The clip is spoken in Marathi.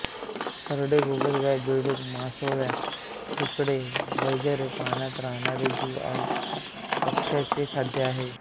सरडे गोगलगाय बेडूक मासोळ्या खेकडे वगैरे पाण्यात राहणारे जीव हे पक्ष्याचे खाद्य आहे